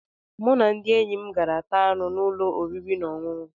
Mụ na ndị enyi m gara taa anụ n'ụlọ oriri na ọṅụṅụ